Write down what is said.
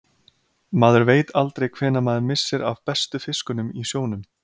Maður veit aldrei hvenær maður missir af bestu fiskunum í sjónum.